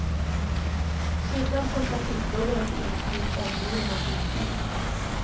Skyddad från trafikbuller och insyn, omgiven av husdjur.